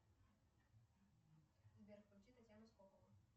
сбер включи татьяну скокову